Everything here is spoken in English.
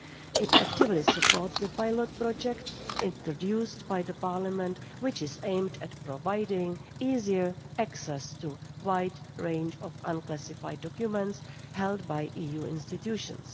It actively supports the pilot project introduced by Parliament, which is aimed at providing easier access to a wide range of unclassified documents held by EU institutions.